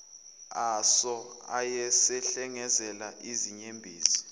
aso ayesehlengezela izinyembezi